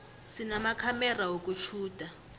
sinamakhamera wokutjhuda